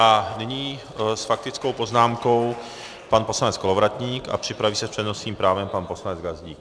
A nyní s faktickou poznámkou pan poslanec Kolovratník a připraví se s přednostním právem pan poslanec Gazdík.